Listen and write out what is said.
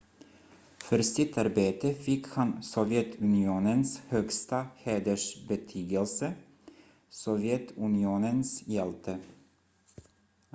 "för sitt arbete fick han sovjetunionens högsta hedersbetygelse "sovjetunionens hjälte"".